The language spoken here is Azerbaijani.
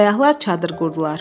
Səyahlar çadır qurdular.